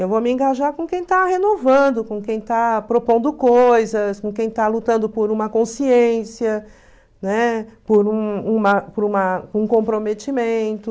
Eu vou me engajar com quem está renovando, com quem está propondo coisas, com quem está lutando por uma consciência, né, por um uma por uma por um comprometimento.